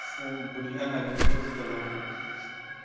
фу бля любовь эта нахуй